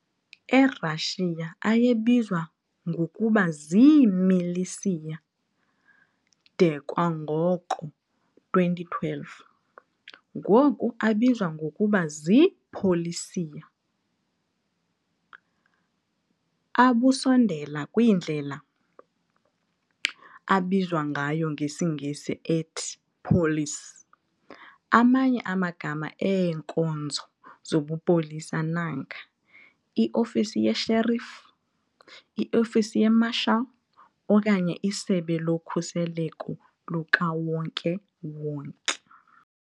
E-Russia, ayebizwa ngokuba zii-"Militsiyer" de kwango-2012, ngoku, abizwa ngokuba zii-"Politsiyer", abusondela kwindlela abizwa ngayo ngesiNgesi ethi "police". Amanye amagama eenkonzo zobupolisa nanga- i-ofisi yesherif, i-ofisi ye-marshal, okanye isebe lokhuseleko lukawonke-wonke.